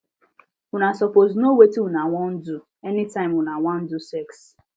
una suppose known wetin una wan do any time una wan do sex